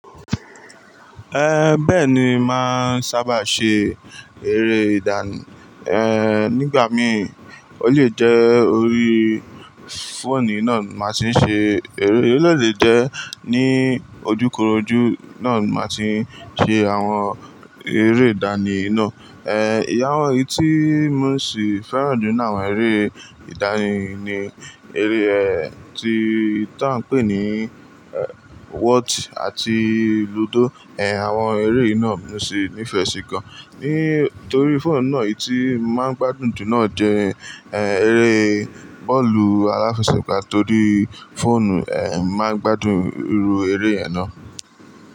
Eh, bẹ́ẹ̀ ni, màá ń sábà ṣe eré ìdánì, eh, nígbà mí, ó lè jẹ́ orí fóònù náà màá ṣe ṣe eré, ó lè lè jẹ́ ní ojúkorojú náà màá ti ṣe àwọn eré ìdánì náà. Eh, ìyàwó yìí tí mo sì fẹ́ràn jù náà, àwọn eré ìdánì ni, eré, ẹ, tí, tó ń pè ní, ẹ, Whot ati lúdò. Eh, àwọn eré yìí náà ni mo sì nífẹ̀ẹ́ sí gan. Nítorí fóònù náà yìí tí màá ń gbádùn jù náà jẹ́, ẹ, eré bọ́ọ̀lù aláfẹsẹ̀gbá torí fóònù, ẹ, màá ń gbádùn irú eré yẹn náà.